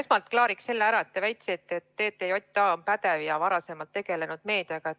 Esmalt klaariks ära selle, et te väitsite, et TTJA on pädev ja varem meediaga tegelenud.